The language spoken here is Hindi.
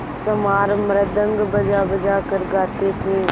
चमार मृदंग बजाबजा कर गाते थे